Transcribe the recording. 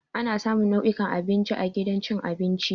Ana samun nau'ukan abinci a gidan cin abinci.